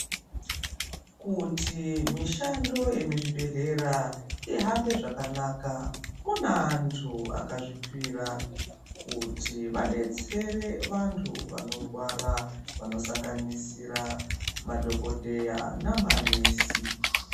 Kuti mishando yemuzvibhedhlera ihambe zvakanaka, kune antu akazvipira kuti vadetsere vantu vanorwara vano sanganisira madhokodheya namanesi.